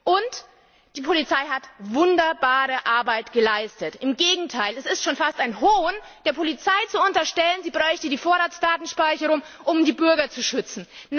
Und die Polizei hat wunderbare Arbeit geleistet. Im Gegenteil, es ist schon fast ein Hohn, der Polizei zu unterstellen, sie bräuchte die Vorratsdatenspeicherung, um die Bürger zu schützen.